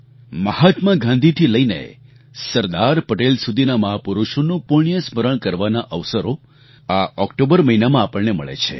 મહાત્મા ગાંધીથી લઈને સરદાર પટેલ સુધીના મહાપુરુષોનું પુણ્ય સ્મરણ કરવાના અવસરો આ ઑક્ટોબર મહિનામાં આપણને મળે છે